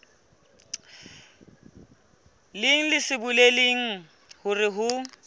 leng se bolelang hore ho